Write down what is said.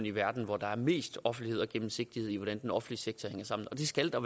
i verden hvor der er mest offentlighed og gennemsigtighed i hvordan den offentlige sektor hænger sammen og det skal der